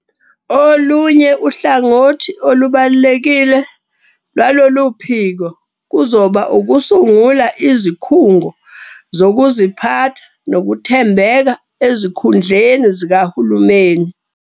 Olunye uhlangothi olubalulekile lwaloluphiko kuzoba ukusungula izikhungo zokuziphatha nokuthembeka ezikhundleni zikahulumeni.